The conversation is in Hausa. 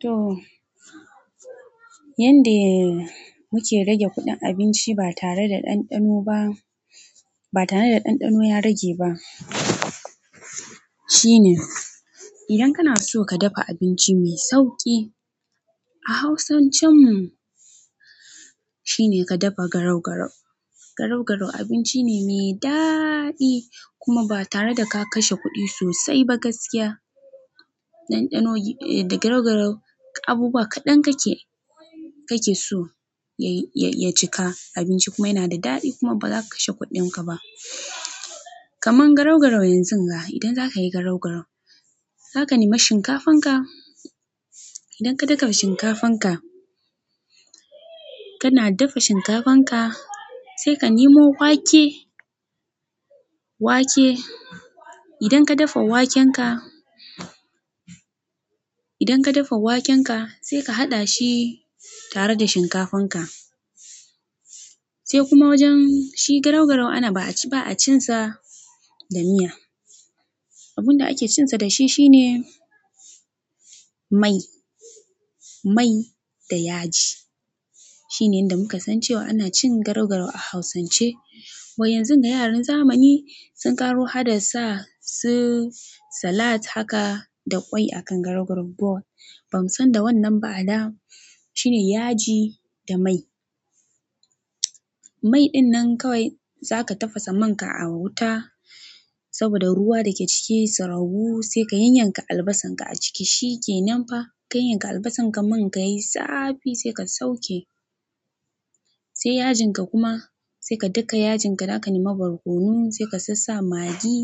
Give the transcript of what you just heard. To, yanda muke rage kuɗin abinci ba tare da ɗanɗano ba, ba tare da ɗanɗano ya rage ba shine idan kana so ka dafa abinci mai sauƙi a hausancin mu shine ka dafa garau-garau. Garau-garau abinci ne mai daɗi kuma ba tare da ka kashe kuɗi sosai ba gaskiya. Ɗanɗano, da garau-garau abu ba kaɗan kake, kake so ya, ya cika abinci kuma yana da daɗi kuma ba za ka kashe kuɗinka ba. Kaman garau-garau yanzunga idan za ka yi garau-garau za ka nema shinkafan ka. Idan ka daka shinkafan ka, kana dafa shinkafan ka sai ka nemo wake, wake. Idan ka dafa waken ka, idan ka dafa waken ka sai ka haɗa shi tare da shinkafan ka. Sai kuma wajen shi garau-garau ana ba a cin sa da miya. Abun da ake cin sa da shi shine mai, mai da yaji. Shine yanda muka san cewa ana cin garau-garau a hausance. Ba yanzunga yaran zamani sun ƙaru haka da sa su salat haka da ƙwai a kan garau-garau bowl. Ban san da wannan ba a da. Shine yaji da mai. Mai ɗin nan kawai zaka tafasa man ka a wuta saboda ruwa da ke ciki su ragu sai ka yanyanka albasan ka a ciki shi ke nanfa. Ka yanyanka albasan ka man ka yayi zafi sai ka sauke. Sai yajin ka kuma sai ka daka yajin ka, za ka nema barkonon sai ka sassa magi